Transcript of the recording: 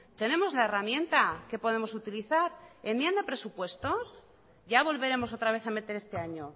tenemos la herramienta que podemos utilizar enmienda presupuestos ya volveremos otra vez a meter este año